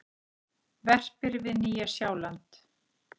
Verpir við Nýja-Sjáland.